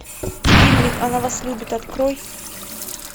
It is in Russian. фильмик она вас любит открой